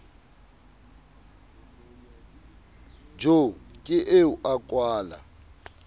jo ke eo a kwala